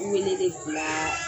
I ni ne ne le te bilaaa